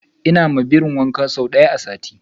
ina ma birin wanka sau daya a sati